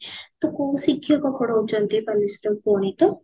ତ କୋଉ ଶିକ୍ଷକ ପଢୋଉଛନ୍ତି ତମ ସେଠି ଗଣିତ